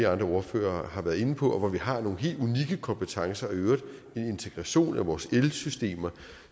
andre ordførere har været inde på hvor vi har nogle helt unikke kompetencer og i øvrigt en integration af vores elsystemer